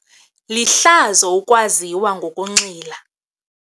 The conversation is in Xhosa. Lihlazo ukwaziwa ngokunxila.